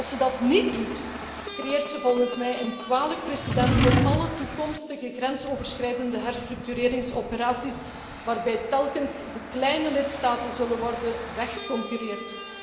Als ze dat niet doet, creëert ze volgens mij een kwalijk precedent voor alle toekomstige grensoverschrijdende herstructureringsoperaties, waarbij telkens de kleine lidstaten zullen worden weggeconcurreerd.